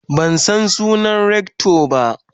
man San sunan Rector ba.